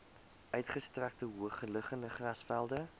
uitgestrekte hoogliggende grasvelde